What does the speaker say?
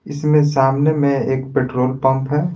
इसमें सामने में एक पेट्रोल पंप है।